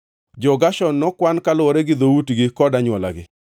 Jo-Gershon nokwan kaluwore gi dhoutgi kod anywolagi.